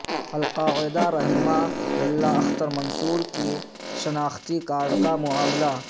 القاعدہ رہنما ملا اختر منصور کے شناختی کارڈ کا معاملہ